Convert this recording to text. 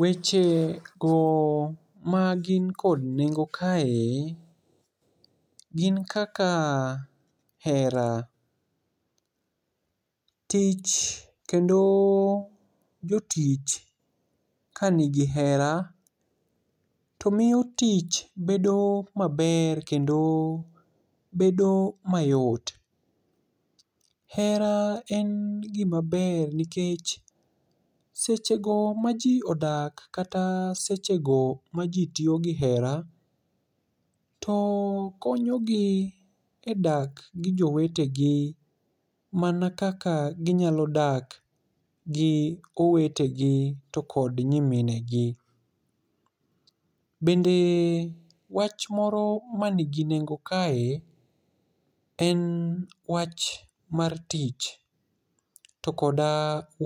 Wechego magin kod nengo kae gin kaka hera. Tich kendo jotich kani gi hera to miyo tich bedo maber kendo bedo mayot. Hera en gima ber nikech sechego maji odak kata sechego maji tiyo gi hera to konyogi edak gi jowetegi mana kaka ginyalo dak gi owetegi to kod nyiminegi. Bende wach moro manigi nengo kae en wach mar tich to kod